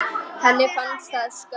Henni fannst það skömm.